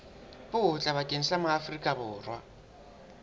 botle bakeng sa maaforika borwa